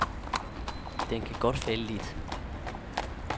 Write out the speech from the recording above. Den kan godt falde lidt.